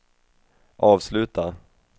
avsluta